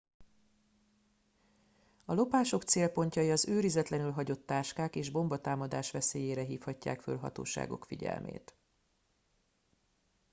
a lopások célpontjai az őrizetlenül hagyott táskák és bombatámadás veszélyére hívhatják fel hatóságok figyelmét